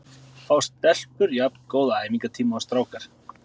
Fá stelpur jafn góða æfingatíma og strákar?